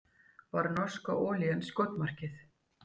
Var norska olían skotmarkið